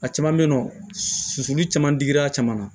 A caman bɛ yen nɔ sosoli caman dir'a caman na